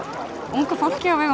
ungu fólki á vegum